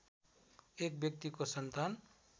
एक व्यक्तिको सन्तान